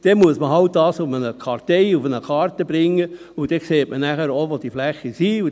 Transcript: – Dann muss man das halt auf eine Karte bringen, und dann sieht man auch, wo diese Flächen sind.